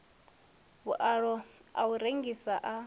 vhualo a u rengisa a